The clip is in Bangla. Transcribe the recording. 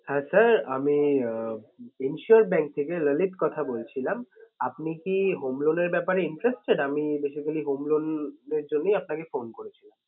হ্যাঁ sir আমি আহ insure bank থেকে ললিত কথা বলছিলাম। আপনি কি home loan এর ব্যাপারে interested আমি basically home loan এর জন্যই আপনাকে phone করেছিলাম।